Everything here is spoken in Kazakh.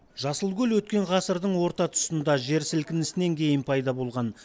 жасылкөл өткен ғасырдың орта тұсында жер сілкінісінен кейін пайда болған